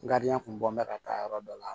kun bɔ ka taa yɔrɔ dɔ la